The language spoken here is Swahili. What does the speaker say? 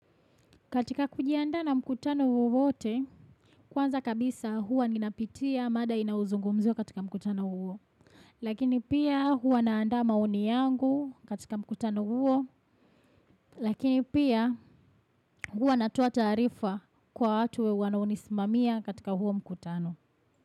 Katika kujianda na mkutano wowote, kwanza kabisa huwa ninapitia mada inayozungumziwa katika mkutano huo. Lakini pia huwa naanda maoni yangu katika mkutano huo. Lakini pia huwa natoa taarifa kwa watu wanao nisimamia katika huo mkutano.